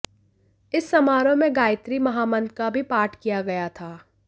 इस समारोह में गायत्री महामंत्र का भी पाठ किया गया था